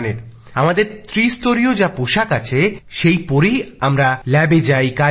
আমাদের ত্রিস্তরিয় পোষাক আছে সেই পরেই আমরা ল্যাবে যাই আর কাজ করি